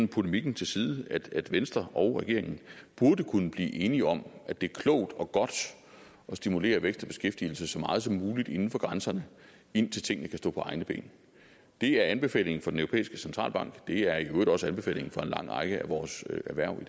polemikken til side at venstre og regeringen burde kunne blive enige om at det er klogt og godt at stimulere vækst og beskæftigelse så meget som muligt inden for grænserne indtil tingene kan stå på egne ben det er anbefalingen fra den europæiske centralbank det er i øvrigt også anbefalingen fra en lang række af vores erhverv